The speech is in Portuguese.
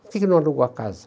Por que que não alugou a casa?